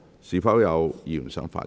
是否有議員想發言？